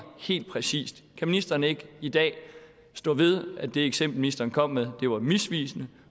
helt præcist kan ministeren ikke i dag stå ved at det eksempel ministeren kom med var misvisende